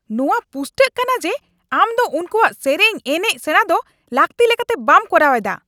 ᱱᱚᱶᱟ ᱯᱩᱥᱴᱟᱹᱜ ᱠᱟᱱᱟ ᱡᱮ ᱟᱢ ᱫᱚ ᱩᱱᱠᱩᱣᱟᱜ ᱥᱮᱨᱮᱧ, ᱮᱱᱮᱪ ᱥᱮᱸᱲᱟ ᱫᱚ ᱞᱟᱹᱠᱛᱤ ᱞᱮᱠᱟᱛᱮ ᱵᱟᱢ ᱠᱚᱨᱟᱣᱮᱫᱼᱟ ᱾